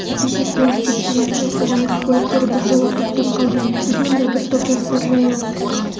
кеше көлік кептелісі мен қоғамдық көліктер біржола тоқтап қалды біз мұнда бір топ жастар жаяу